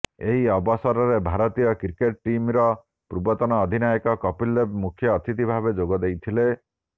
ଏହି ଅବସରରେ ଭାରତୀୟ କ୍ରିକେଟ୍ ଟିମ୍ର ପୂର୍ବତନ ଅଧିନାୟକ କପିଲ୍ ଦେବ ମୁଖ୍ୟ ଅତିଥି ଭାବେ ଯୋଗ ଦେଇଥିଲେ